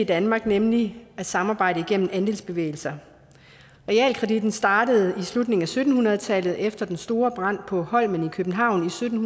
danmark nemlig at samarbejde gennem andelsbevægelser realkreditten startede i slutningen af sytten hundrede tallet efter den store brand på holmen i københavn i sytten